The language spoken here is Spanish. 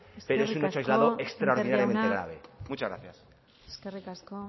pero es un hecho aislado extraordinariamente graves muchas gracias eskerrik asko